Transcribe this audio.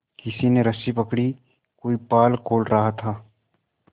किसी ने रस्सी पकड़ी कोई पाल खोल रहा था